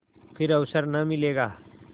फिर अवसर न मिलेगा